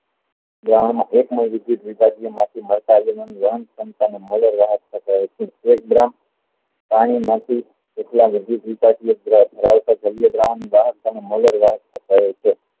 દ્રાવણ માં એક પાણી માંથી થતા હોય છે